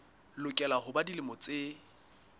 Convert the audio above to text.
lokela ho ba dilemo tse